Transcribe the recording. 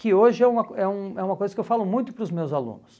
Que hoje é uma é um é uma coisa que eu falo muito para os meus alunos.